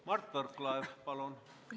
Mart Võrklaev, palun!